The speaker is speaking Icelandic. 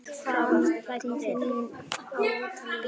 Framtíð mín á Ítalíu?